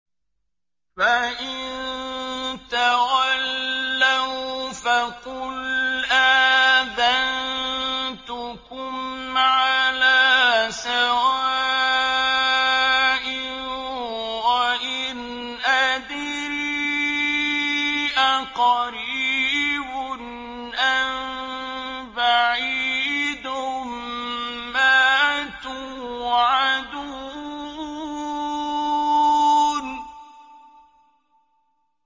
فَإِن تَوَلَّوْا فَقُلْ آذَنتُكُمْ عَلَىٰ سَوَاءٍ ۖ وَإِنْ أَدْرِي أَقَرِيبٌ أَم بَعِيدٌ مَّا تُوعَدُونَ